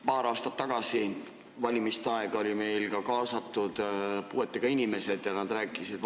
Paar aastat tagasi olid meil valimiste ajal kaasatud puuetega inimesed, vaegnägijad.